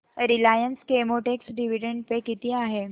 Reliance Chemotex dividend pay किती आहे